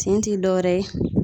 Tin ti dɔwɛrɛ ye.